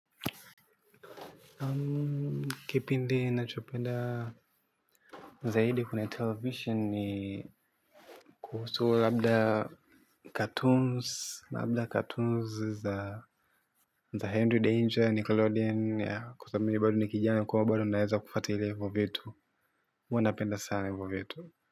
Kipindi nachopenda zaidi kwenye televisheni ni kuhusu labda labda cartoons za Henry Danger, Nickelodeon ya kwa sababu mimi ni bado ni kijani ko bado naweza kufatilia hivo vitu. Huwa napenda sana vitu.